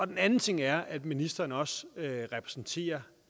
den anden ting er at ministeren også repræsenterer